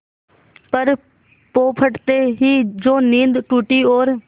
पर पौ फटते ही जो नींद टूटी और